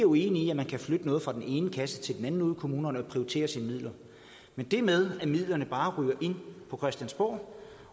uenige i at man kan flytte noget fra den ene kasse til den anden ude i kommunerne og prioritere sine midler men det med at midlerne bare ryger ind på christiansborg